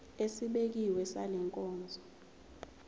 esibekiwe sale nkonzo